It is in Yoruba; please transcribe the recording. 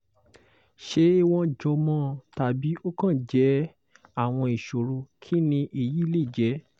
ṣé wọ́n jọmọ tàbí ó kàn jẹ́ àwọn ìṣòro kini eyi le je?